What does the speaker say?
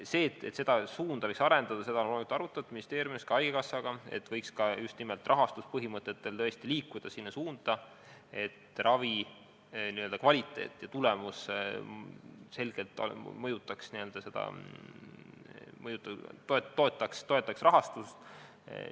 Seda, et seda suunda võiks arendada, on loomulikult ministeeriumis arutatud, ka haigekassaga on arutatud, et võiks just nimelt rahastuspõhimõtetega tõesti liikuda sinna suunda, et ravi kvaliteet ja tulemus selgelt mõjutaks ja toetaks rahastust.